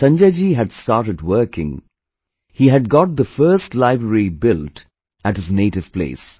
When Sanjay ji had started working, he had got the first library built at his native place